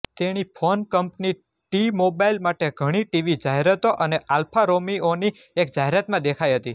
તેણી phone company T Mobile માટે ઘણી ટીવી જાહેરાતો અને આલ્ફા રોમિઓની એક જાહેરાતમાં દેખાઇ હતી